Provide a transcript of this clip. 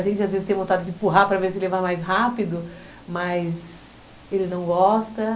A gente às vezes tem vontade de empurrar para ver se ele vai mais rápido, mas ele não gosta.